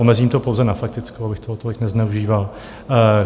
Omezím to pouze na faktickou, abych toho tolik nezneužíval.